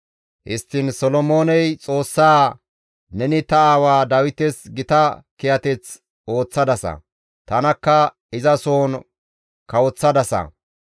Histtiin Solomooney Xoossaa, «Neni ta aawa Dawites gita kiyateth ooththadasa; tanakka izasohon kawoththadasa.